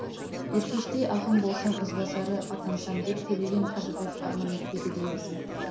еркештей ақын болсам ізбасары атансам деп төлеген қажыбаев арман етпеді деймісің